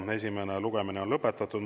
Esimene lugemine on lõpetatud.